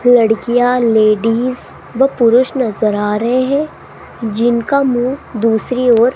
लड़कियां लेडीज व पुरुष नजर आ रे हैं जिनका मुंह दूसरी ओर --